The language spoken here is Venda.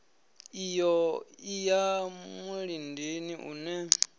iyo i ya mulindini une